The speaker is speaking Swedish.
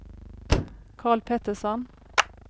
Karl Pettersson